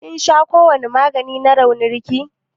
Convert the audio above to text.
ƙin sha kowani magani na raunin ki?